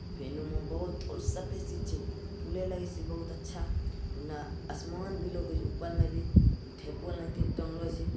सभे चीज़ छे बहुत अच्छा ओने आसमान भी लोकइत उपल मे भी इ ठेकुआ लान के टाँगलो छे ।